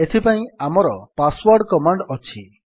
ଏଥିପାଇଁ ଆମର passwd command ଅଛି